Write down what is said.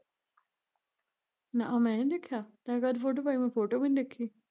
ਨਾ ਆ ਮੈਨੀ ਦੇਖਿਆ ਤੈ ਕਦ ਫ਼ੋਟੋ ਪਾਈ ਮੈਂ ਫ਼ੋਟੋ ਵੀ ਨੀ ਦੇਖੀ